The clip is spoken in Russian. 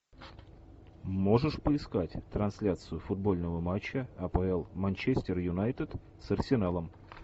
можешь поискать трансляцию футбольного матча апл манчестер юнайтед с арсеналом